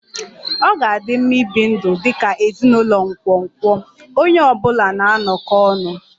Ọ ga-adị mma ibi ndụ dị ka ezinụlọ nkwonkwo, onye ọ bụla na-anọkọ ọnụ